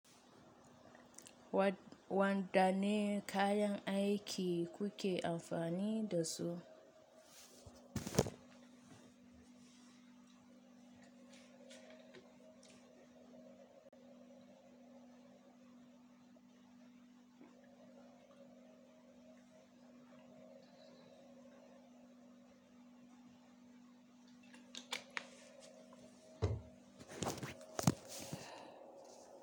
Wadda ne kayan aiki kuke amfani dasu?